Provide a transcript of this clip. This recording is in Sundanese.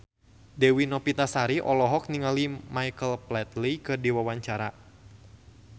Dewi Novitasari olohok ningali Michael Flatley keur diwawancara